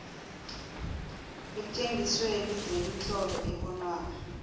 eentjengisweni zemitlolo ebonwako